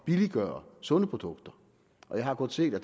billiggøre sunde produkter og jeg har godt set at